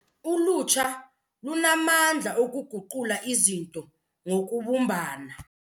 Ulutsha lunamandla okuguqula izinto ngokubumbana.